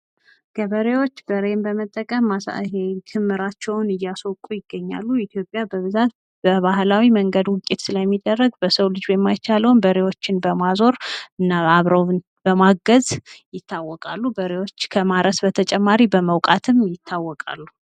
ገበሬዎች በሬዎችን በመጠቀም ክምራቸውን እያስወቁ ይገኛሉ። ኢትዮጵያ በብዛት በባህላዊ መንገድ ውቂያ ስለሚደረግ በሰው ልጅ የማይቻለውን በሬዎችን በማዞር እና አብረው በማገዝ ይታወቃሉ ። በሬዎችም ከማረስ በተጨማሪ በመውቃት ይታወቃሉ።